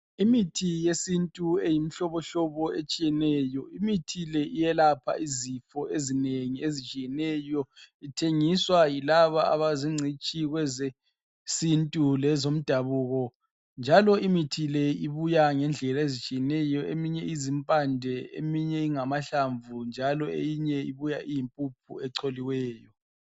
Imithi yesintu eyimihlobohlobo etshiyeneyo. Imithi le iyelapha izifo ezinengi ezitshiyeneyo. Ithengiswa yilabo, abazingcitshi kwezesintu lezomdabuko, njalo imithi le ibuya ngendlela ezitshiyeneyo. Eminye izimpande. Eminye ingamahlamvu, njalo eminye ibuya iyimpuphu echoliweyo.